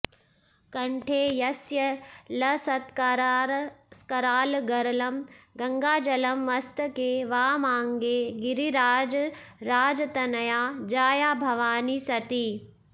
कण्ठे यस्य लसत्करालगरलं गङ्गाजलं मस्तके वामाङ्गे गिरिराजराजतनया जाया भवानी सती